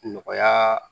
Nɔgɔya